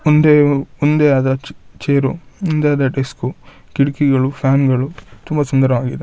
ಒಂದೇ ಒಂದೇ ಆದ ಚ ಚೇರು ಒಂದೇ ಆದ ಡೆಸ್ಕು ಕಿಟಕಿಗಳು ಫ್ಯಾನ್ಗಳು ತುಂಬಾ ಸುಂದರವಾಗಿದೆ.